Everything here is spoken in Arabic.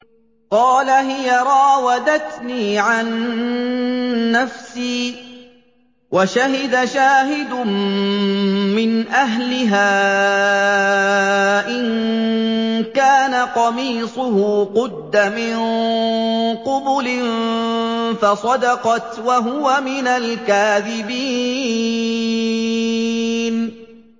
قَالَ هِيَ رَاوَدَتْنِي عَن نَّفْسِي ۚ وَشَهِدَ شَاهِدٌ مِّنْ أَهْلِهَا إِن كَانَ قَمِيصُهُ قُدَّ مِن قُبُلٍ فَصَدَقَتْ وَهُوَ مِنَ الْكَاذِبِينَ